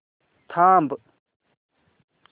थांब